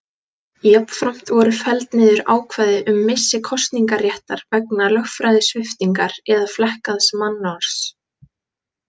Jafnframt voru felld niður ákvæði um missi kosningaréttar vegna lögræðissviptingar eða flekkaðs mannorðs.